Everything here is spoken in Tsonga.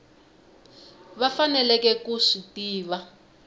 va faneleke ku swi tiva